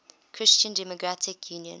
christian democratic union